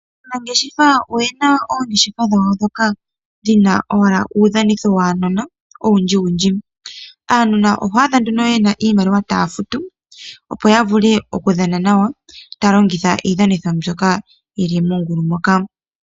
Aanangeshefa oyena oongeshefa dhawo ndhoka dhina owala uudhanitho waanona owundji wundji aanona oho adha nduno iimaliwa taya futu opo yavule okudhana nawa talongitha iidhanitho mbyoka yili mongulu moka.